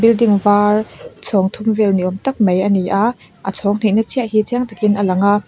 building var chhawng thum vel ni awm tak mai a ni a a chhawng hihna chiah hi chiang takin a lang a.